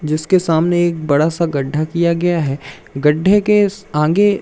जिसके सामने एक बड़ा सा गड्ढा किया गया है गड्ढे के आगे--